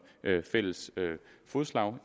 fælles fodslag